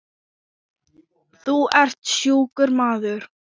Þú ert sjúkur maður.